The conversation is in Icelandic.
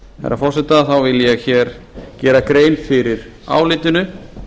herra forseta þá vil ég hér gera grein fyrir álitinu